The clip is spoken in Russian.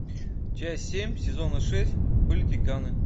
часть семь сезона шесть политиканы